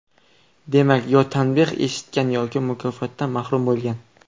Demak, yo tanbeh eshitgan yoki mukofotdan mahrum bo‘lgan.